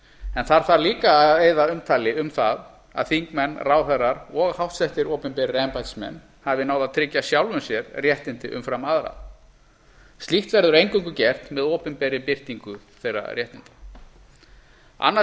en þar þarf líka að eyða umtali um það að þingmenn ráðherrar og háttsettir opinberir embættismenn hafi náð að tryggja sjálfum sér réttindi umfram aðra slíkt verður eingöngu gert með opinberri birtingu þeirra réttinda annað